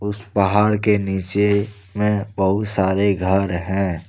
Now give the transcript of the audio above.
पहाड़ के नीचे में बहुत सारे घर हैं।